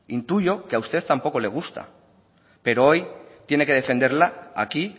intuyo que a usted tampoco le gusta pero hoy tiene que defenderla aquí